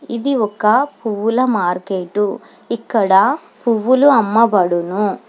ఇది ఒక్క పువ్వుల మార్కెటు ఇక్కడ పువ్వులు అమ్మబడును.